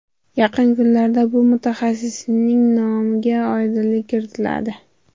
Yaqin kunlarda bu mutaxassisning nomiga oydinlik kiritiladi.